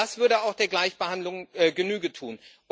Das würde auch der Gleichbehandlung Genüge tun.